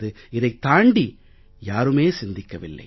இதைத் தாண்டி யாருமே சிந்திக்கவில்லை